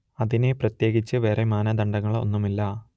അതിനെ പ്രത്യേകിച്ച് വേറേ മാനദണ്ഡങ്ങൾ ഒന്നും ഇല്ല